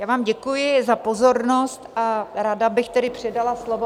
Já vám děkuji za pozornost a ráda bych tedy předala slovo...